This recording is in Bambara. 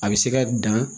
A bɛ se ka dan